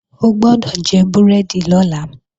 O gbọ́dọ̀ jẹ búrẹ́dì lọ́la!